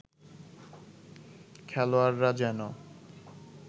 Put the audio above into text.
খেলোয়াড়রা যেন